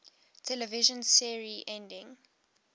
television series endings